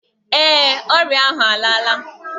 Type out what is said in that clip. Ee, ọrịa ahụ alaala